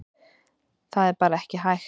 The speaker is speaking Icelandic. Það er bara ekkert hægt.